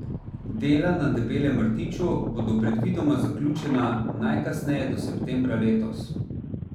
Dela na Debelem rtiču bodo predvidoma zaključena najkasneje do septembra letos.